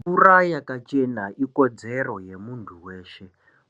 Mvura yakachena ikodzero yemuntu weshe